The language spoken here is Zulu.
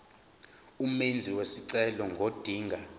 umenzi wesicelo ngodinga